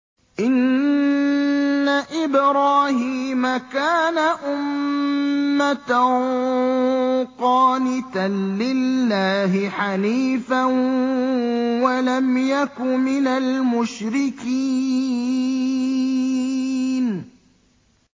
إِنَّ إِبْرَاهِيمَ كَانَ أُمَّةً قَانِتًا لِّلَّهِ حَنِيفًا وَلَمْ يَكُ مِنَ الْمُشْرِكِينَ